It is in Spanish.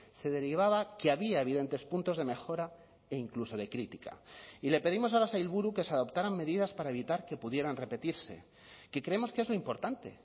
se derivaba que había evidentes puntos de mejora e incluso de crítica y le pedimos a la sailburu que se adoptaran medidas para evitar que pudieran repetirse que creemos que es lo importante